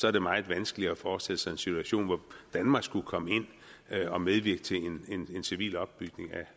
er det meget vanskeligt at forestille sig en situation hvor danmark skulle komme ind og medvirke til en civil opbygning